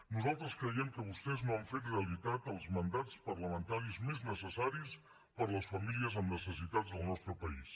nosaltres creiem que vostès no han fet realitat els mandats parlamentaris més necessaris per a les famílies amb necessitats del nostre país